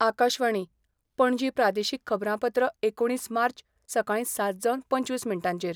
आकाशवाणी, पणजी प्रादेशीक खबरांपत्र एकुणीस मार्च, सकाळी सात जावन पंचवीस मिनटांचेर